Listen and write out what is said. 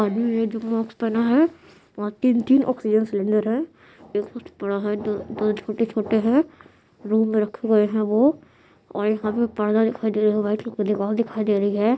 आदमी है जो मास्क पहना है वहाँ तीन-तीन ऑक्सीजन सिलिंडर है कुछ बडा है दो कूछ छोटे-छोटे है रूम में रखे हुए है वो और यहाँ पे पर्दा दिखाई दे रहा है वाइट कलर का दीवाल दिखाई दे रही है।